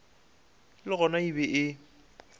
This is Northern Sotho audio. le gona e be e